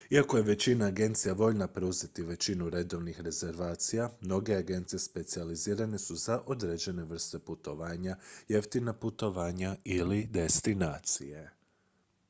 iako je većina agencija voljna preuzeti većinu redovnih rezervacija mnoge agencije specijalizirane su za određene vrste putovanja jeftina putovanja ili destinacije